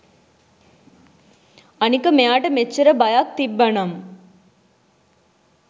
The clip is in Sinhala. අනික මෙයාට මෙච්චර බයක් තිබ්බනම්